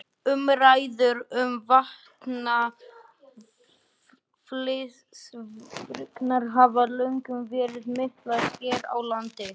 Umræður um vatnsaflsvirkjanir hafa löngum verið miklar hér á landi.